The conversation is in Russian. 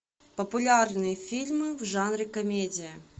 популярные фильмы в жанре комедия